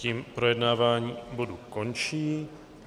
Tím projednávání bodu končím.